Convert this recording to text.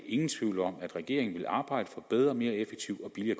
ingen tvivl om at regeringen vil arbejde for bedre mere effektiv og billigere